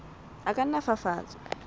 a ka nna a fafatswa